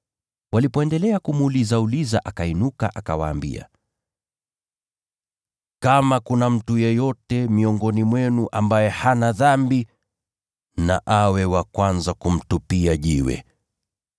Walipoendelea kumuulizauliza akainuka, akawaambia, “Kama kuna mtu yeyote miongoni mwenu ambaye hana dhambi na awe wa kwanza kumtupia jiwe.”